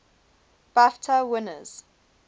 bafta winners